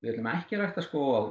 ætlum ekki að rækta skóg á